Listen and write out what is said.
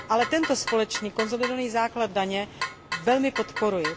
Ale tento společný konsolidovaný základ daně velmi podporuji.